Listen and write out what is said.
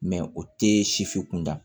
o tɛ sifi kunda